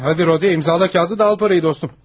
Hə, gəl Rodi, imzala kağızı, pulu da al dostum.